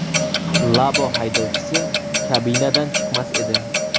Labo haydovchisi kabinadan chiqmas edi.